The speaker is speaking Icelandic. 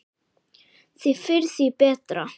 Því fyrr, því betra.